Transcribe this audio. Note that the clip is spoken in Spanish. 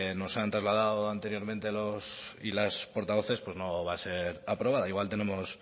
nos han trasladado anteriormente los y las portavoces pues no va a ser aprobada o igual tenemos